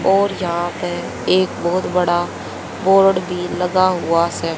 और यहां पे एक बहुत बड़ा बोर्ड भी लगा हुआ से।